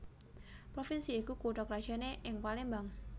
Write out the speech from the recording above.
Provinsi iku kutha krajané ing Palembang